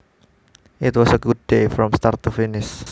It was a good day from start to finish